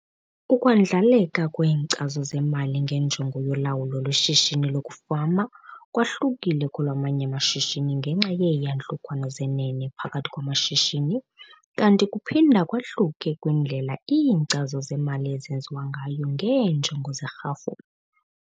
Ukwandlaleka kweenkcazo zemali ngenjongo yolawulo lweshishini lokufama kwahlukile kolwamanye amashishini ngenxa yeeyantlukwano zenene phakathi kwamashishini kanti kuphinda kwahluke kwindlela iinkcazo zemali ezenziwa ngayo ngeenjongo zerhafu.